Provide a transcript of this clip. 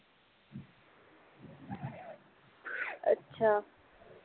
ਅੱਛਾ